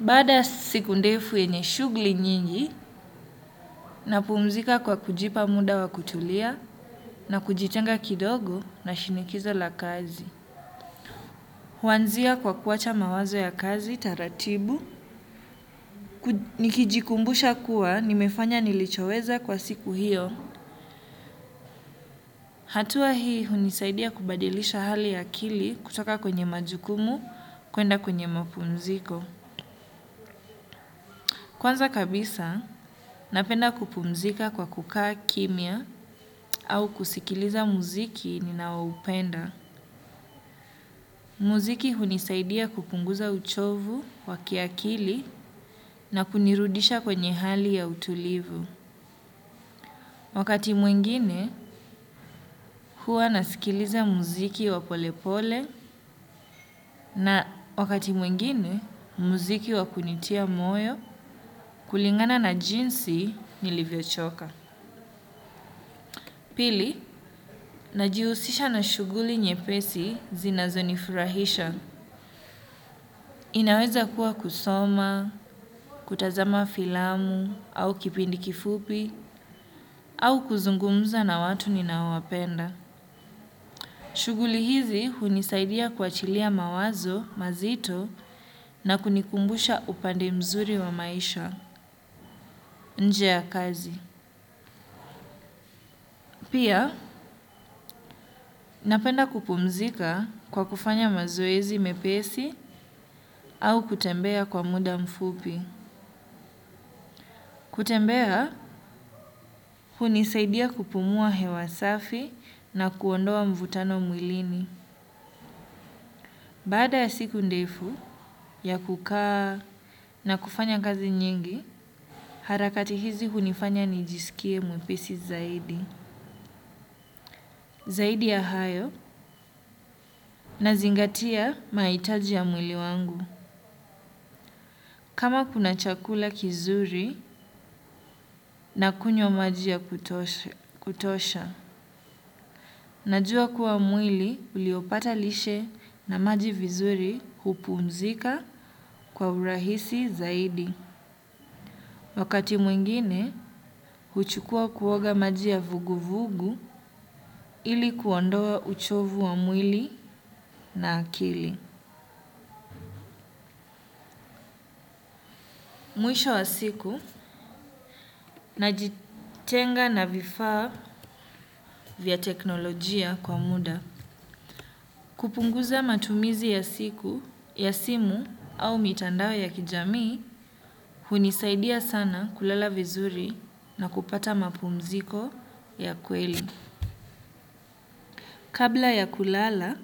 Baada ya siku ndefu yenye shughuli nyingi, napumzika kwa kujipa muda wa kutulia na kujitenga kidogo na shinikizo la kazi. Huanzia kwa kuacha mawazo ya kazi taratibu. Nikijikumbusha kuwa, nimefanya nilichoweza kwa siku hiyo. Hatua hii hunisaidia kubadilisha hali ya akili kutoka kwenye majukumu kwenda kwenye mapumziko. Kwanza kabisa, napenda kupumzika kwa kukaa kimya au kusikiliza muziki ninaoupenda. Muziki hunisaidia kupunguza uchovu wa kiakili na kunirudisha kwenye hali ya utulivu. Wakati mwingine, huwa nasikiliza muziki wapolepole na wakati mwingine muziki wa kunitia moyo kulingana na jinsi nilivyochoka. Pili, najihusisha na shughuli nyepesi zinazonifurahisha. Inaweza kuwa kusoma, kutazama filamu, au kipindi kifupi, au kuzungumza na watu ninaowapenda. Shughuli hizi hunisaidia kuachilia mawazo, mazito, na kunikumbusha upande mzuri wa maisha, nje ya kazi. Pia, napenda kupumzika kwa kufanya mazoezi mepesi au kutembea kwa muda mfupi. Kutembea, hunisaidia kupumua hewa safi na kuondoa mvutano mwilini. Baada ya siku ndefu ya kukaa na kufanya kazi nyingi, harakati hizi hunifanya nijisikie mwepesi zaidi. Zaidi ya hayo nazingatia mahitaji ya mwili wangu. Kama kuna chakula kizuri na kunywa maji ya kutosha. Najua kuwa mwili uliopata lishe na maji vizuri hupumzika kwa urahisi zaidi. Wakati mwengine, huchukua kuoga maji ya vuguvugu ili kuondoa uchovu wa mwili na akili. Mwisho wa siku, najitenga na vifaa vya teknolojia kwa muda. Kupunguza matumizi ya siku, ya simu au mitandao ya kijamii, hunisaidia sana kulala vizuri na kupata mapumziko ya kweli. Kabla ya kulala,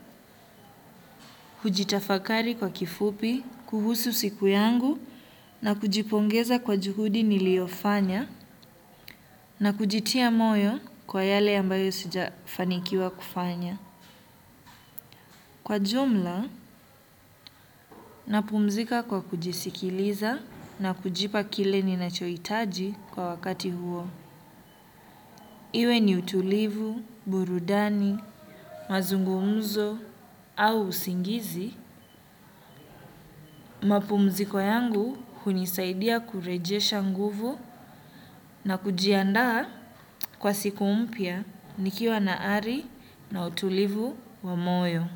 hujitafakari kwa kifupi, kuhusu siku yangu na kujipongeza kwa juhudi niliyofanya na kujitia moyo kwa yale ambayo sijafanikiwa kufanya. Kwa jumla, napumzika kwa kujisikiliza na kujipa kile ninachoitaji kwa wakati huo. Iwe ni utulivu, burudani, mazungumuzo au usingizi. Mapumziko yangu hunisaidia kurejesha nguvu na kujiandaa kwa siku mpya nikiwa na ari na utulivu wa moyo.